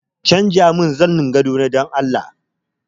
Canjamin zanin gadona dan Allah!